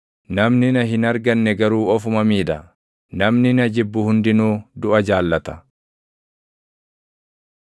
Namni na hin arganne garuu ofuma miidha; namni na jibbu hundinuu duʼa jaallata.”